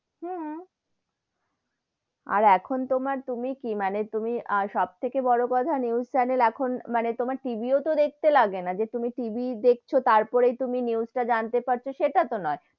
হুন, আর এখন তোমার, তুমি কি মানে তুমি সবথেকে বড়ো কথা news channel এখন মানে তোমার TV ও তো দেখতে লাগে না যে তুমি TV দেখছো তার পরে তুমি news টা জানতে পারছো সেটা তগো নয়,